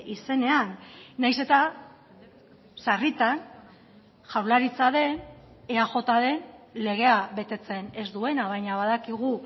izenean nahiz eta sarritan jaurlaritza den eaj den legea betetzen ez duena baina badakigu